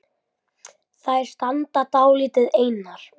Þær standa dálítið einar.